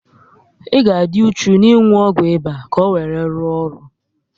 Ị ga adi uchu n'inwu ọgwụ ịba ka owere ruo ọrụ